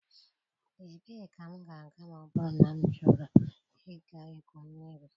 Ebee ka m ga-aga ma ọ bụrụ na m chọrọ ịga igwu mmiri?